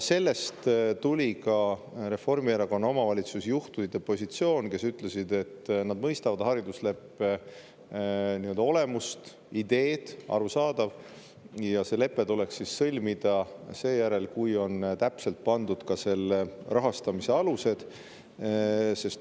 Sellest tuleneski Reformierakonna omavalitsusjuhtide positsioon, kes ütlesid, et nad mõistavad haridusleppe nii-öelda olemust ja ideed, see on arusaadav, aga see lepe tuleks sõlmida seejärel, kui on täpselt pandud paika selle rahastamise alused.